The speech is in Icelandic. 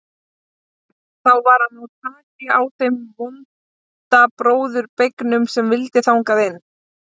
Þá var að ná taki á þeim vonda bróður beygnum sem vildi þangað inn.